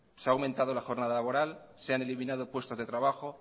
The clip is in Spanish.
se ha aumentado la jornada laboral se han eliminado puestos de trabajo